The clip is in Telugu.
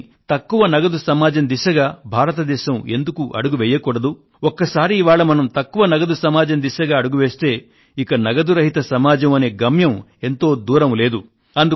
అందుకని తక్కువ నగదు సమాజం దిశగా భారతదేశం ఎందుకు అడుగు వేయకూడదు ఒకసారి ఇవాళ మనం తక్కువ నగదు సమాజం దిశగా అడుగు వేస్తే ఇక నగదు రహిత సమాజం అనే గమ్యం ఎంతో దూరం లేదు